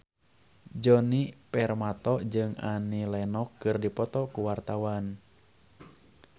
Djoni Permato jeung Annie Lenox keur dipoto ku wartawan